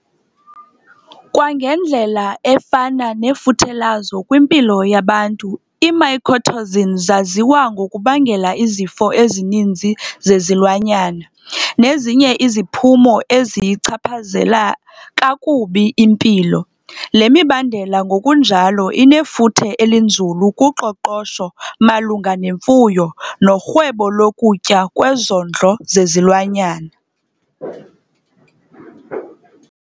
Kwangendlela efana nefuthe lazo kwimpilo yabantu, ii-mycotoxin zaziwa ngokubangela izifo ezininzi zezilwanyana nezinye iziphumo eziyichaphazela kakubi impilo. Le mibandela ngokunjalo inefuthe elinzulu kuqoqosho malunga nemfuyo norhwebo lokutya kwezondlo zezilwanyana.